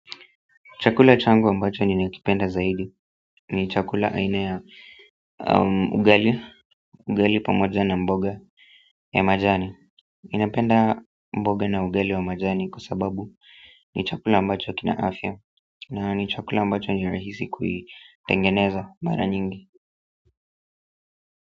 Chakula changu ambacho ninakipenda zaidi ni chakula aina ya ugali ugali pamoja na mboga ya majani ninapenda mboga na ugali wa majani kwa sababu ni chakula ambacho kina afya na ni chakula ambacho ni rahisi kuitengeneza mara nyingi.